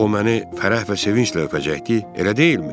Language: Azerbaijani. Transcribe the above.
O məni fərəh və sevinclə öpəcəkdi, elə deyilmi?